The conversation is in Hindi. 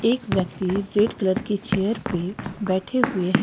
एक व्यक्ति रेड कलर की चेयर पे बैठे हुए हैं।